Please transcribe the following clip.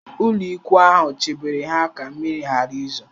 Ụlọikwuu ahụ chebere ha ka mmiri ghara izo